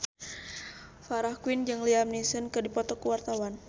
Farah Quinn jeung Liam Neeson keur dipoto ku wartawan